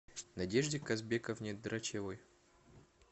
надежде казбековне драчевой